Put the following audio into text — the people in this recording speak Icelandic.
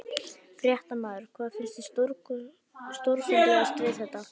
Fréttamaður: Hvað finnst þér stórfenglegast við þetta?